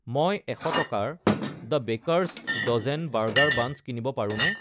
মই এশ টকাৰ the baker's dozen burger buns কিনিব পাৰোঁনে